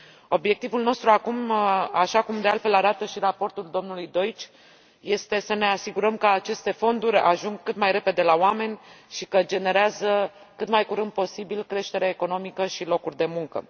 Obiectivul nostru acum, așa cum, de altfel, arată și raportul domnului Deutsch, este să ne asigurăm că aceste fonduri ajung cât mai repede la oameni și că generează cât mai curând posibil creștere economică și locuri de muncă.